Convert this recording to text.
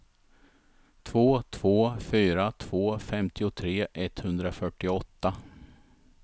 två två fyra två femtiotre etthundrafyrtioåtta